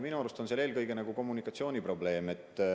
Minu arust on seal eelkõige kommunikatsiooniprobleem.